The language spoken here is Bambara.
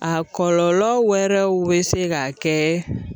A kɔlɔlɔ wɛrɛw bɛ se ka kɛ